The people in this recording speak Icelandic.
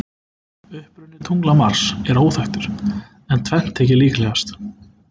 Uppruni tungla Mars er óþekktur, en tvennt þykir líklegast.